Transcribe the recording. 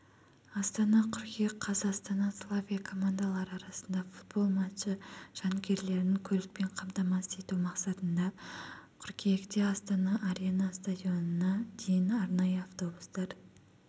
астана қыркүйек қаз астана славия командалары арасында футбол матчы жанкүйерлерін көлікпен қамтамасыз ету мақсатында қыркүйекте астана арена стадионына дейін арнайы автобустар